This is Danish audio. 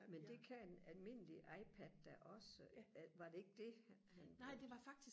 men det kan en almindelig ipad da også var det ikke det han han brugte